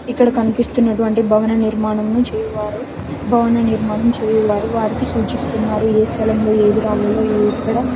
ఇక్కడ కనిపిస్తున్నటువంటి భవన నిర్మాణం చేయువారు భవన నిర్మాణం చేయువారు వారికి సూచిస్తున్నారు ఏ స్థలం లో ఏది రావాలా ఈ ఇక్కడ--